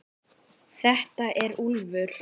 Þetta er Úlfur.